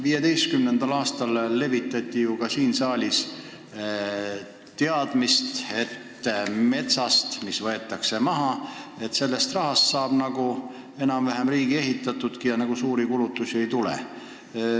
2015. aastal levitati ka siin saalis teadmist, et maha võetava metsa raha eest saab enam-vähem riigipiiri ehitatud ja suuri kulutusi ei tule.